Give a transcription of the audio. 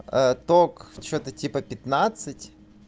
ток что-то типа пятнадцать